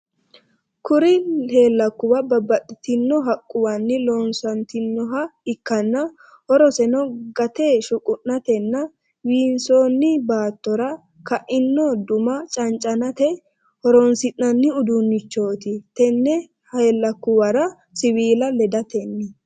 kuri helakuba babatitino haquwanni loosanitinoha ikana horoseno gaate shuqunateena winsoni battora kaino duna chanchanate horonisinani udunichote tene helakuwara siwila ledatenniti